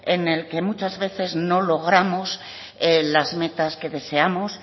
en el que muchas veces no logramos las metas que deseamos